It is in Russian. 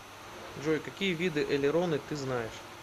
джой какие виды элероны ты знаешь